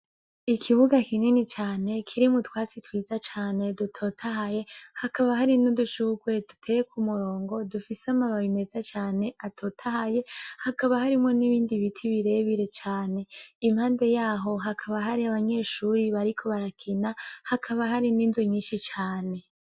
Ikibuga kinini cane kirimwo utwasi twiza cane dutotahaye, hakaba hari n'udushurwe duteye ku murongo dufise amababi meza cane atotahaye, hakaba harimwo n'ibindi biti birebire cane, impande yaho hakaba hari abanyeshuri bariko barakina hakaba hari n'inzu nyinshi cane.